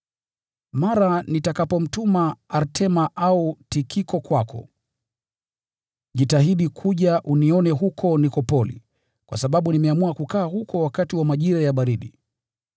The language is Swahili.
Mara nitakapomtuma Artema au Tikiko kwako, jitahidi kuja unione huko Nikopoli, kwa sababu nimeamua kukaa huko wakati wa majira ya baridi.